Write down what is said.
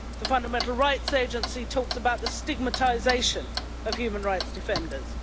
The Fundamental Rights Agency, talks about the stigmatization of human rights defenders.